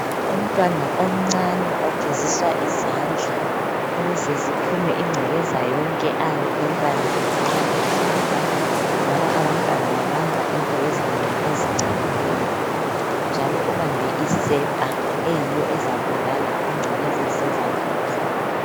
Umntwana omncane ogezizwa izandla ukuze ziphume incekeza yonkeayabe eyibambile edlala ngoba abantwana babamba izinto ezinengi ezincolileyi njalo ubambe isepha eyiyo ezabulala incekeza ezise zandleni zakhe.